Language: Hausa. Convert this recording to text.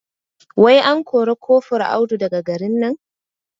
Wai an kore kofur Audu daga garin nan?